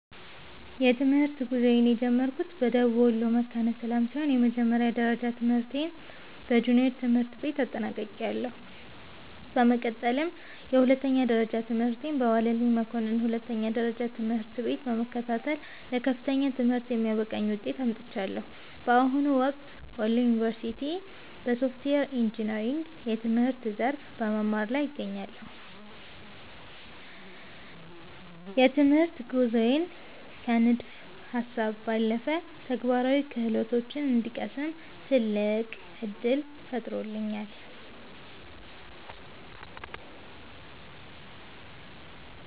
የትምህርት ጉዞዬን የጀመርኩት በደቡብ ወሎ መካነ ሰላም ሲሆን፣ የመጀመሪያ ደረጃ ትምህርቴን በጁኒየር ትምህርት ቤት አጠናቅቄያለሁ። በመቀጠልም የሁለተኛ ደረጃ ትምህርቴን በዋለልኝ መኮንን ሁለተኛ ደረጃ ትምህርት ቤት በመከታተል ለከፍተኛ ትምህርት የሚያበቃኝን ውጤት አምጥቻለሁ። በአሁኑ ወቅት በወሎ ዩኒቨርሲቲ (Wollo University) በሶፍትዌር ኢንጂነሪንግ የትምህርት ዘርፍ በመማር ላይ እገኛለሁ። ይህ የትምህርት ጉዞዬ ከንድፈ ሃሳብ ባለፈ ተግባራዊ ክህሎቶችን እንድቀስም ትልቅ ዕድል ፈጥሮልኛል።